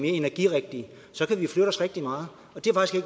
energirigtige så kan vi flytte os rigtig meget